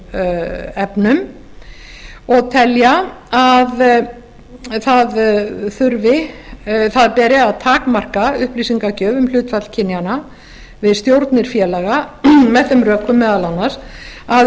efnum og telja að það beri að takmarka upplýsingagjöf um hlutfall kynjanna við stjórnir félaga með þeim rökum meðal annars að